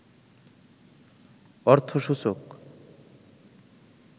অর্থসূচক